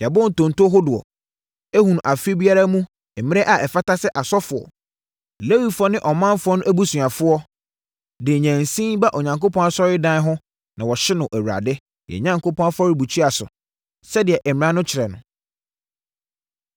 “Yɛabɔ ntonto hodoɔ, ahunu afe biara mu mmerɛ a ɛfata sɛ asɔfoɔ, Lewifoɔ ne ɔmanfoɔ no abusuafoɔ de nnyensin ba Onyankopɔn asɔredan ho na wɔhye no Awurade, yɛn Onyankopɔn afɔrebukyia so, sɛdeɛ mmara no kyerɛ no.